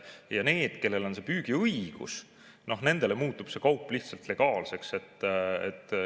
Aga nendel, kellel on püügiõigus, muutub see kaup lihtsalt legaalseks.